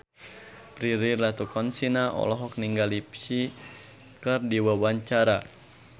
Prilly Latuconsina olohok ningali Psy keur diwawancara